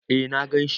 Eh na ganshi.